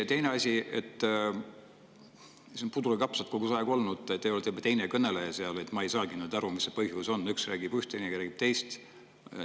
Ja teine asi – see on pudru ja kapsad kogu aeg olnud, te olete juba teine kõneleja –, ma ei saagi nüüd aru, mis põhjusel üks räägib üht, teine teist.